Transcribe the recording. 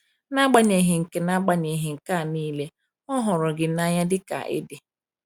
N’agbanyeghị nke N’agbanyeghị nke a niile, Ọ hụrụ gị n’anya dị ka ị dị.